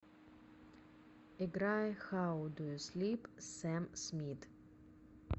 играй хау ду ю слип сэм смит